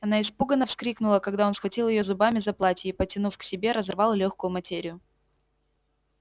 она испуганно вскрикнула когда он схватил её зубами за платье и потянув к себе разорвал лёгкую материю